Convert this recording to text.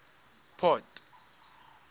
port